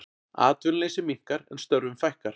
Atvinnuleysi minnkar en störfum fækkar